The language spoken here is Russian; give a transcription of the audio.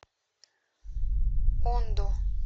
ондо